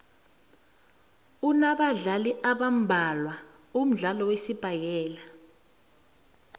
unabadlali abambadlwana umdlalo wesibhakela